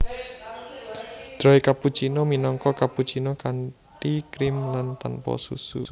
Dry cappuccino minangka cappuccino kanthi krim lan tanpa susu